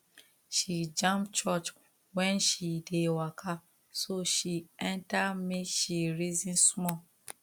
she jam church when she dey waka so she enter make she reason small